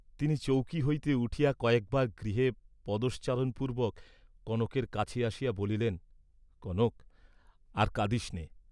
তিনি চৌকী হইতে উঠিয়া কয়েকবার গৃহে পদশ্চারণ পূর্ব্বক কনকের কাছে আসিয়া বলিলেন, কনক, আর কাঁদিস নে।